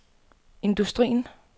industrien